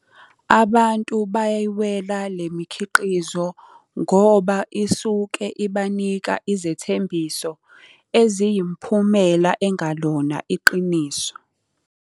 Abantu bayayiwela le mikhiqizo ngoba isuke ibanika izethembiso eziyimphumela engalona iqiniso.